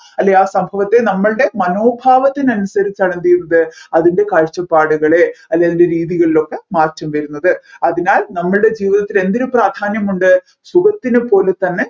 അല്ലെ ആ സംഭവത്തെ നമ്മൾടെ മനോഭാവത്തിന് അനുസരിച്ചാണ് എന്ത് ചെയ്യുന്നത് അതിൻെറ കാഴ്ചപ്പാടുകളെ അല്ല അതിൻ്റെ രീതികളിലൊക്കെ മാറ്റം വരുന്നത് അതിനാൽ നമ്മൾടെ ജീവിതത്തിന് എന്തിന് പ്രാധാന്യമുണ്ട് സുഖത്തിന് പോലെ തന്നെ